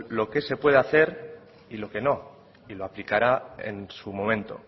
lo que se puede hacer y lo que no y lo aplicará en su momento